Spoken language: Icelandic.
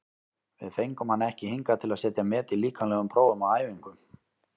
Við fengum hann ekki hingað til að setja met í líkamlegum prófum á æfingum.